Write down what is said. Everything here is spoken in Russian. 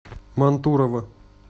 мантурово